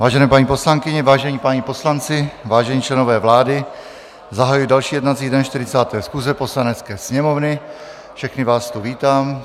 Vážené paní poslankyně, vážení páni poslanci, vážení členové vlády, zahajuji další jednací den 40. schůze Poslanecké sněmovny, všechny vás tu vítám.